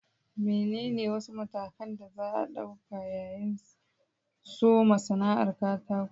Menene wasu matakan da za a ɗauka yayin soma sana'ar katako?